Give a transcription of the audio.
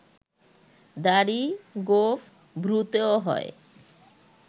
দাড়ি, গোঁফ, ভ্রুতেও হয়